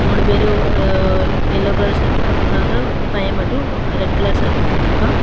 மூணு பேரு yellow colour shirt போட்ருக்காங்க அந்த பைய மட்டும் ரெட் கலர் ஷர்ட் போட்ருக்கா.